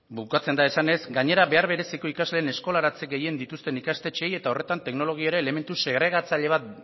bukatzen da esanez gainera behar bereziko ikasleen eskolaratze gehien dituzten ikastetxeei eta horretan teknologia ere elementu segregatzaile bat